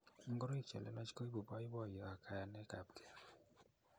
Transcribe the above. Ngoroik chilelach kuibu boiboiyo ak kayanekapkei.